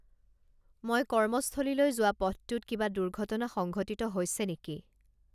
মই কৰ্মস্থলীলৈ যোৱা পথটোত কিবা দুৰ্ঘটনা সংঘটিত হৈছে নেকি